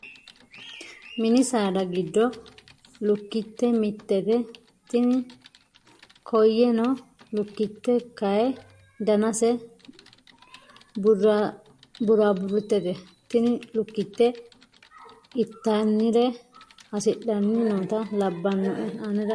Mini saada giddo lukkitte mittete. Tini koyee noo lukkitte kayii danase buraaburittete. Tini lukkitte ittanire hasidhanni noota labbanoe anera yaate.